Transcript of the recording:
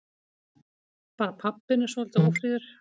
Bara pabbinn er svolítið ófríður.